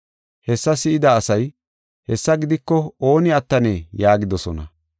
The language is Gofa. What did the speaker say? Hessa si7ida asay, “Hessa gidiko ooni attanee?” yaagidosona.